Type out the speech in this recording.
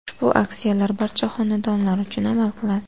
Ushbu aksiyalar barcha xonadonlar uchun amal qiladi.